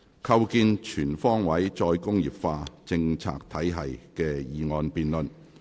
構建全方位"再工業化"政策體系的議案辯論。